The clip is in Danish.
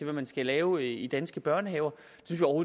man skal lave i danske børnehaver